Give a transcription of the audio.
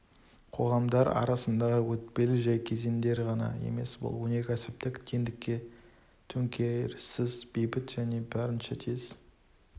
қоғамдар арасындағы өтпелі жәй кезеңдер ғана емес бұл өнеркәсіптік теңдікке төңкеріссіз бейбіт және барынша тез